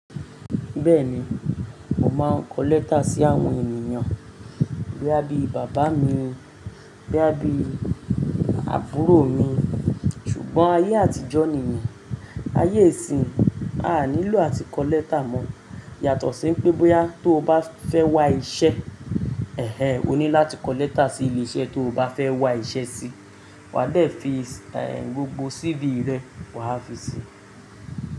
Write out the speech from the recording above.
Bẹ́ẹ̀ni, mo máa ń kọ lẹ́tà sí àwọn ènìyàn boya bi bàbá mi, bóyá bí àbúrò mi. Ṣùgbọ́n ayé àtijọ́ nìyẹn, ayé ìsin a nílò àti kọ lẹ́tà mọ́. Yàtọ̀ sí pé bóyá tó bá fẹ́ wá iṣẹ́, ẹh ẹh o ní láti kọ lẹ́tà sí ilé iṣẹ́ tó bá fẹ́ wá iṣẹ́ sí. Wa dẹ̀ fi gbogbo CV rẹ wa fi sí.